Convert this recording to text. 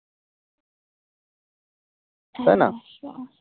হ্যাঁ